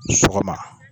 Sɔgɔma